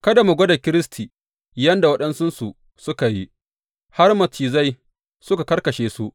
Kada mu gwada Kiristi yadda waɗansunsu suka yi, har macizai suka kakkashe su.